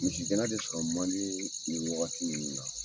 Misigɛnna de sɔrɔ man di nin wagati minnu la